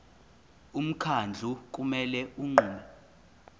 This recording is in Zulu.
umkhandlu kumele unqume